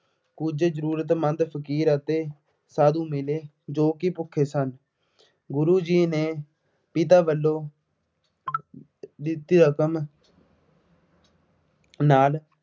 ਕੁੱਝ ਜ਼ਰੂਰਤਮੰਦ ਫਕੀਰ ਅਤੇ ਸਾਧੂ ਮਿਲੇ ਜੋ ਕਿ ਭੁੱਖੇ ਸਨ। ਗੁਰੂ ਜੀ ਨੇ ਪਿਤਾ ਵੱਲੋਂ ਦਿੱਤੀ ਰਕਮ ਨਾਲ